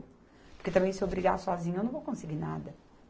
Porque também se eu brigar sozinha, eu não vou conseguir nada.